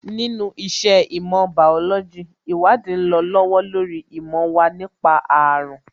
Nínú iṣẹ́ ìmọ̀ bàólójī, ìwádìí ń lọ lọ́wọ́ lórí ìmọ̀ wa nípa àrùn